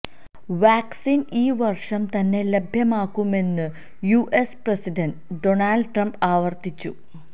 vaccine ഈ വർഷം തന്നെ ലഭ്യമാക്കുമെന്ന് യുഎസ് പ്രസിഡന്റ് ഡോണൾഡ് ട്രംപ് ആവർത്തിച്ചു